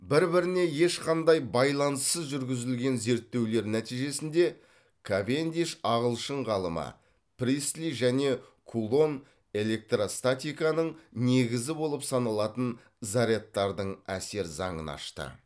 бір біріне ешқандай байланыссыз жүргізілген зерттеулер нәтижесінде кавендиш ағылшын ғалымы пристли және кулон электростатиканың негізі болып саналатын зарядтардың әсер заңын ашты